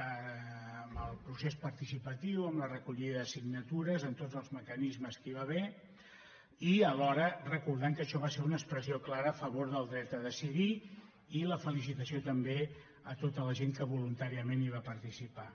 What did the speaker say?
amb el procés partici·patiu amb la recollida de signatures amb tots els me·canismes que hi va haver i alhora recordant que això va ser una expressió clara a favor del dret a decidir i la felicitació també a tota la gent que voluntàriament hi va participar